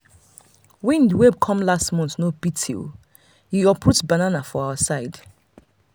wind wey come last month no pity e uproot plenty banana for our side.